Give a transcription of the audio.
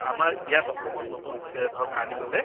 আমাৰ ইয়াত অসমত নতুন বিষয় ধৰক, আনিবলৈ ।